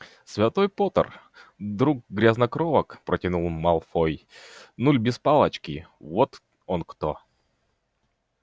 святой поттер друг грязнокровок протянул малфой нуль без палочки вот он кто